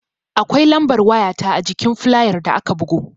Akwai lambar waya ta ajikin fulayar da aka bugo